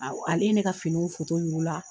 Ale ye ne ka finiw yir'u la